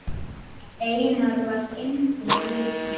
Einar var engum líkur.